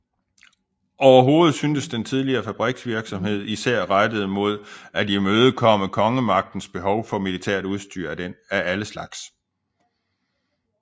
Overhovedet synes den tidlige fabriksvirksomhed især rettet mod at imødekomme kongemagtens behov for militært udstyr af alle slags